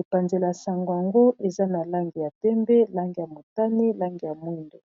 epanzele ya sango yango eza na lange ya tembe lange ya motani lange ya mwindo